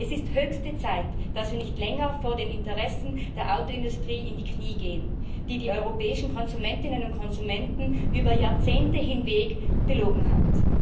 Es ist höchste Zeit, dass Sie nicht länger vor den Interessen der Autoindustrie in die Knie gehen, die die europäischen Konsumentinnen und Konsumenten über Jahrzehnte hinweg belogen hat.